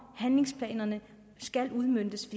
handlingsplanerne skal udmøntes